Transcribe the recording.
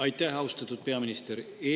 Aitäh, austatud peaminister!